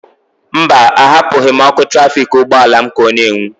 Mba, ahapụghị m ọkụ trafiketọ ụgbọala m ka ọ n'enwu.